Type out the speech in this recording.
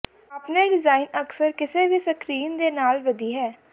ਆਪਣੇ ਡਿਜ਼ਾਇਨ ਅਕਸਰ ਕਿਸੇ ਵੀ ਸਕਰੀਨ ਦੇ ਨਾਲ ਵਧੀ ਹੈ